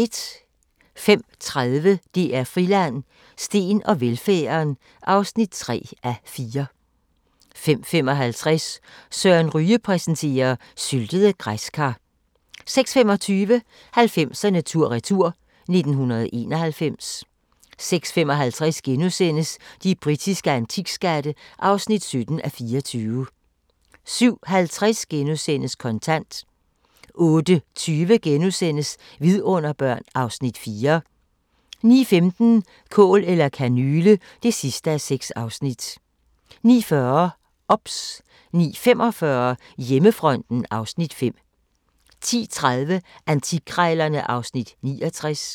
05:30: DR Friland: Steen og velfærden (3:4) 05:55: Søren Ryge præsenterer: Syltede græskar 06:25: 90'erne tur-retur: 1991 06:55: De britiske antikskatte (17:24)* 07:50: Kontant * 08:20: Vidunderbørn (Afs. 4)* 09:15: Kål eller kanyle (6:6) 09:40: OBS 09:45: Hjemmefronten (Afs. 5) 10:30: Antikkrejlerne (Afs. 69)